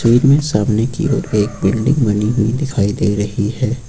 इनमे सामने की ओर एक बिल्डिंग बनी हुई दिखाई दे रही है।